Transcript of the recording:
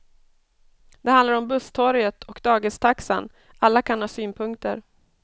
Det handlar om busstorget och dagistaxan, alla kan ha synpunkter.